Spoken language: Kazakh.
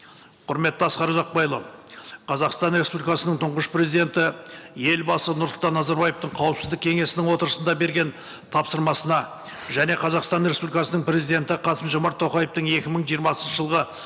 құрметті асқар ұзақбайұлы қазақстан республикасының тұңғыш президенті елбасы нұрсұлтан назарбаевтың қауіпсіздік кеңесінің отырысында берген тапсырмасына және қазақстан республикасының президенті қасым жомарт тоқаевтың екі мың жиырмасыншы жылғы